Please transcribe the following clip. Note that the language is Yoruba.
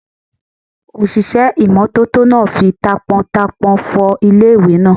Òṣìṣẹ́ ìmọ́tótó náà fi taápọntaápọn fọ ilé ìwẹ̀ náà